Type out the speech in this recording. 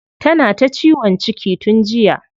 Tana ta ciwon ciki tun jiya.